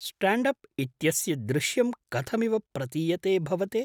Stand up इत्यस्य दृश्यं कथमिव प्रतीयते भवते?